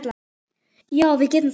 Já, við getum það.